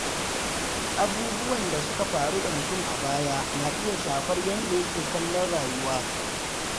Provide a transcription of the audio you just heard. Abubuwan da suka faru da mutum a baya na iya shafar yadda yake kallon rayuwa.